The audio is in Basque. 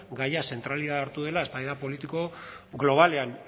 gaia zentralitatea hartu dela eztabaida politiko globalean